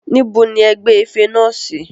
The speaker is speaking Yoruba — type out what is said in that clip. Níbo ni e gbé ife ńlá náà sí?